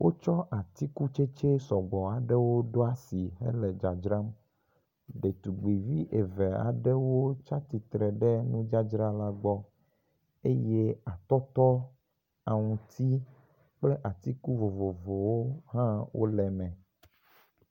Wotsɔ atsikutsetse sɔgbɔ aɖewo ɖo asi hele dzadzram. Ɖetugbi vi eve wotsi aɖewo tsi atsitre ɖe nudzadzra la gbɔ eye atɔtɔ, aŋuti kple atiku vovowo hã ele eme.